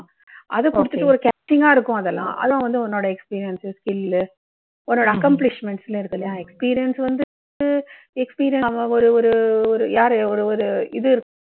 அதை குடுத்துட்டு ஒரு catching கா இருக்கும் அதெல்லாம். அது வந்து உன்னோட experience சு, skill லு, உன்னோட accomplishments எல்லாம் இருக்கு இல்லையா, experience வந்து ஒரு ஒரு யாரு ஒரு ஒரு இது